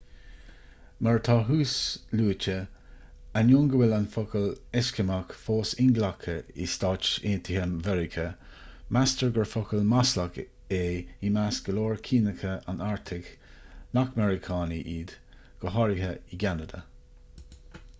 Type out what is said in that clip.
mar atá thuasluaite ainneoin go bhfuil an focal eiscimeach fós inghlactha i stáit aontaithe mheiriceá meastar gur focal maslach é i measc go leor ciníocha an artaigh nach meiriceánaigh iad go háirithe i gceanada